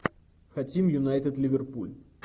хотим юнайтед ливерпуль